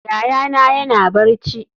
Yayana yana barci.